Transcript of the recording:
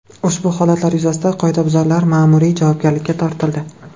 Ushbu holatlar yuzasidan qoidabuzarlar ma’muriy javobgarlikka tortildi.